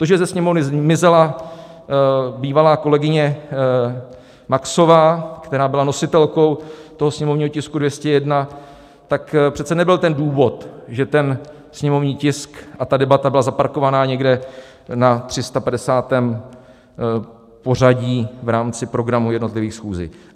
To, že ze Sněmovny zmizela bývalá kolegyně Maxová, která byla nositelkou toho sněmovního tisku 201, tak přece nebyl ten důvod, že ten sněmovní tisk a ta debata byly zaparkovány někde na 350. pořadí v rámci programů jednotlivých schůzí.